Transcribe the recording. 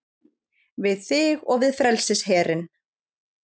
Við þig og við frelsisherinn